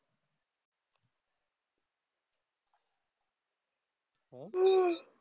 हां?